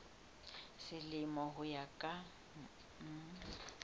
selemo ho ya ka mm